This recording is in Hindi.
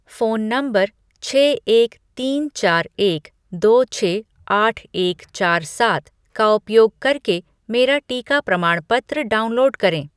फ़ोन नंबर छः एक तीन चार एक दो छः आठ एक चार सात का उपयोग करके मेरा टीका प्रमाणपत्र डाउनलोड करें